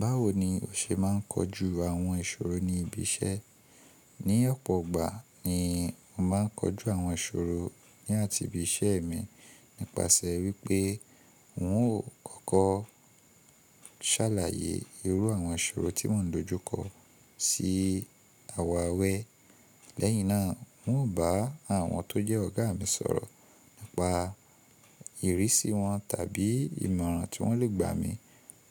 Báwo ni o ṣe máa ń kojú àwọn ìṣòro ní ibi iṣẹ́? Ní ọ̀pọ̀ ọgbà ni mo máa ń kojú àwọn ìṣòro ní àti ibi iṣẹ́ mi nípasẹ̀ wípé n ó kọkọ ṣàlàyé irú àwọn ìṣòro tí mò ń dojúkọ sí àwọn àwẹ̀. Lẹ́yìn náà, n ó bá àwọn tó jẹ́ ọ̀gá mi sọ̀rọ̀ nípa ìrísí wọn tàbí ìmọ̀ràn tí wọ́n lè gbà mí